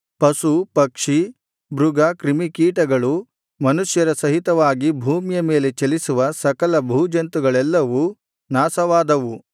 ಪಶು ಪಕ್ಷಿ ಮೃಗ ಕ್ರಿಮಿಕೀಟಗಳು ಮನುಷ್ಯರ ಸಹಿತವಾಗಿ ಭೂಮಿಯ ಮೇಲೆ ಚಲಿಸುವ ಸಕಲ ಭೂಜಂತುಗಳೆಲ್ಲವೂ ನಾಶವಾದವು